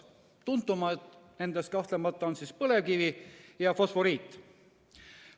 Tuntuimad nendest kahtlemata on põlevkivi ja fosforiit.